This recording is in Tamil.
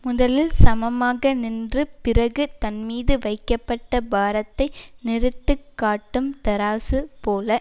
முதலில் சமமாக நின்று பிறகு தன்மீது வைக்கப்பட்ட பாரத்தை நிறுத்துக் காட்டும் தராசு போல